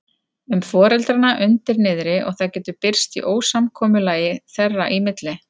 um foreldrana undir niðri og það getur birst í ósamkomulagi þeirra í milli.